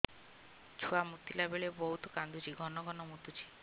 ଛୁଆ ମୁତିଲା ବେଳେ ବହୁତ କାନ୍ଦୁଛି ଘନ ଘନ ମୁତୁଛି